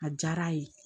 A diyara a ye